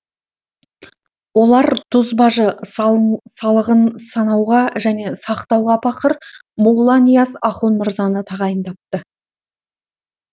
олар тұз бажы салығын санауға және сақтауға пақыр молла нияз ахун мырзаны тағайындапты